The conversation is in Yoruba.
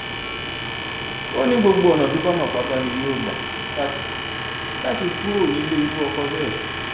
ó ní gbogbo ọnà tó bá mọ pátá ni yóò gbà láti láti kúrò nílé irú ọkọ bẹẹ